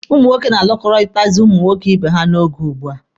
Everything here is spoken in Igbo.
Ụmụ nwoke na-alụkọrịtazị nwoke ibe ha n'oge ugbua.